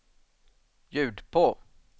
ljud på